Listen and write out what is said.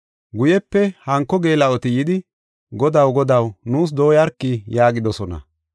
“Guyepe hanko geela7oti yidi, ‘Godaw, godaw, nuus dooyarki’ yaagidosona.